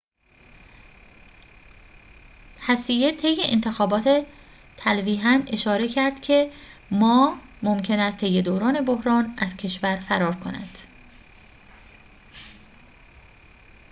هسیه طی انتخابات تلویحاً اشاره کرد که ما ممکن است طی دوران بحران از کشور فرار کند